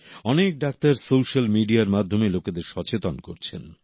অনেক doctor social মিডিয়ার মাধ্যমে লোকেদের সচেতন করছেন